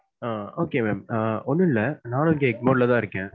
ஆஹ் okay ma'am ah ஒன்னும் இல்ல நானும் இங்க எக்மோர் ல தான் இருக்கேன்.